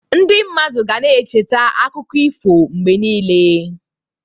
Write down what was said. Ndị mmadụ ga na-echeta akụkọ ifo mgbe niile.